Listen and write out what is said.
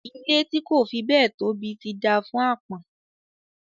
Ilé tí kò fi béẹ̀ tóbi ti dáa fún àpọ́n